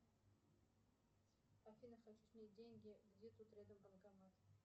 афина хочу снять деньги где тут рядом банкомат